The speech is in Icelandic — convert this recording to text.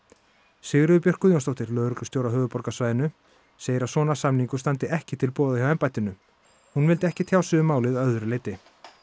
Sigríður Björk Guðjónsdóttir lögreglustjóri á höfuðborgarsvæðinu segir að svona samningur standi ekki til boða hjá embættinu hún vildi ekki tjá sig um málið að öðru leyti